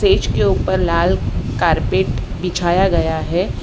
Stage के ऊपर लाल कारपेट बिछाया गया है।